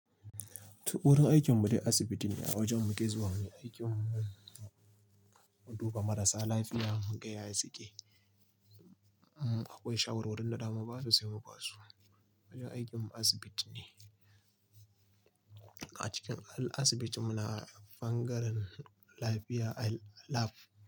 T iwurin aikin mu dai asibiti ne. A wajen muke zuwa muyi aikin mu. Mu duba marasa lafiya, muga yaya suke. Akwai shawarwarin da zamu basu sai mu basu. Wajen aikin mu asibiti ne. A cikin asibiti muna bangaren lafiya a lab.